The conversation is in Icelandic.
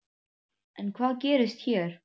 En hvað gerist hér?